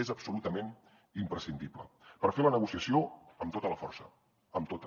és absolutament imprescindible per fer la negociació amb tota la força amb tota